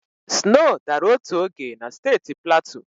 Snow dara otu oge na steeti Platu.